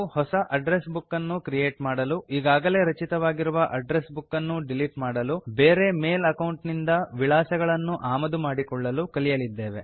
ಹೊಸ address book ಅನ್ನು create ಮಾಡಲು ಈಗಾಗಲೇ ರಚಿತವಾಗಿರುವ ಅಡ್ಡ್ರೆಸ್ ಬುಕ್ ಅನ್ನು ಡಿಲೀಟ್ ಮಾಡಲು ಬೇರೆ ಮೇಲ್ ಅಕೌಂಟ್ ನಿಂದ ವಿಳಾಸಗಳನ್ನು ಆಮದು ಮಾಡಿಕೊಳ್ಳಲು ಕಲಿಯಲಿದ್ದೇವೆ